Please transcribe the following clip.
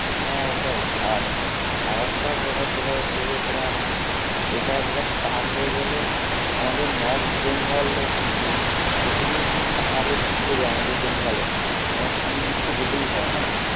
হ্যাঁ ওটাই আর আর একটা ব্যাপার সেটা হচ্ছে যে তোমার এটা একবার start হয়ে গেলে আমাদের নর্থ বেঙ্গলে মানে যেখানেই তুমি আমাদের পাহাড়ে গুরতে যাও আমাদের বেঙ্গলে, তোমার শিলিগুড়ি তো যেতেই হয় তাই না?